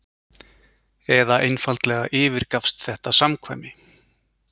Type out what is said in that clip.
eða einfaldlega yfirgafst þetta samkvæmi?